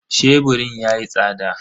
Sheburin yayi tsada.